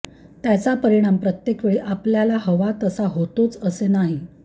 त्याचा परिणाम प्रत्येकवेळी आपल्याला हवा तसा होतोच असे नाही